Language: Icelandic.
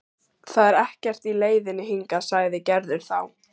Það er ekkert í leiðinni hingað, sagði Gerður þá.